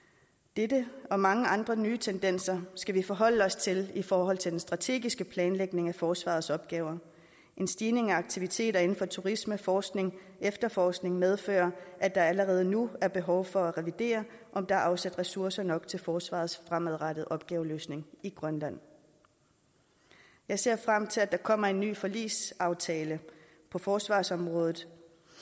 dette og mange andre nye tendenser skal vi forholde os til i forhold til den strategiske planlægning af forsvarets opgaver en stigning i aktiviteter inden for turisme forskning og efterforskning medfører at der allerede nu er behov for at revidere om der er afsat ressourcer nok til forsvarets fremadrettede opgaveløsning i grønland jeg ser frem til at der kommer en ny forligsaftale på forsvarsområdet